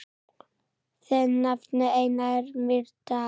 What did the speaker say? Þinn nafni, Einar Mýrdal.